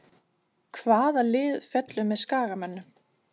Hvaða lið fellur með Skagamönnum?